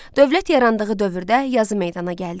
Dövlət yarandığı dövrdə yazı meydana gəldi.